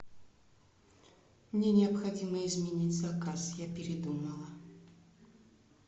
мне необходимо изменить заказ я передумала